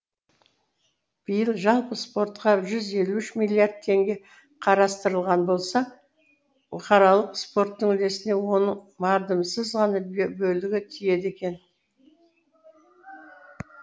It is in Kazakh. биыл жалпы спортқа жүз елу үш миллиард теңге қарастырылған болса бұқаралық спорттың үлесіне оның мардымсыз ғана бөлігі тиеді екен